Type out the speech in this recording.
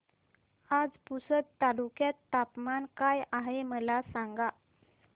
आज पुसद तालुक्यात तापमान काय आहे मला सांगा